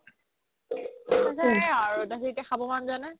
এতিয়া সেই আৰু হেৰিতে খাব মন যোৱা নাই